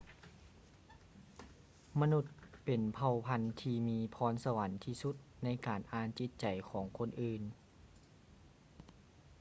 ມະນຸດເປັນເຜົ່າພັນທີ່ມີພອນສະຫວັນທີ່ສຸດໃນການອ່ານຈິດໃຈຂອງຄົນອື່ນ